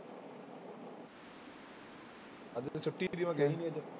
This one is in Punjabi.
ਅੱਜ ਤਾਂ ਛੁੱਟੀ ਸੀ ਮੈਂ ਗਿਆ ਹੀ ਨੀ ਅੱਜ।